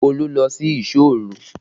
Olu lọ sí ìsọ́ òru